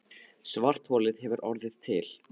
Svartholið hefur orðið til.